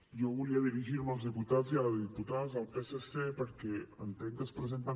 jo volia dirigir me als diputats i les diputades del psc perquè entenc que es presenten